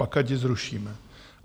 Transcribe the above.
Pak ať ji zrušíme.